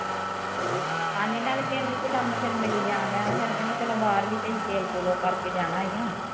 ਹਾਂਜੀ ਣਾਲੈ ਪਿੰਡ ਚ ਕੰਮ ਫਿਰ ਮਿਲੀ ਜਾਣ ਡਿਆ ਨਾ ਫਿਰ ਕਹਿੰਦੇ ਚਲੋ ਬਾਹਰ ਵੀ ਤੇ ਅਸੀਂ ਤੇਲ ਤੂਲ ਉਹ ਕਰ ਕੇ ਜਾਣਾ ਈ ਆ